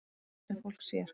Það er það sem fólk sér.